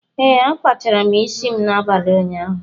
Ee, akpachara isi m n'abalị ụnyaahụ.